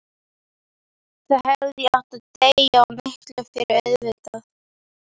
Þá hefði ég átt að deyja, og miklu fyrr auðvitað.